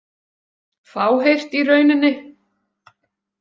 Fáheyrt í rauninni.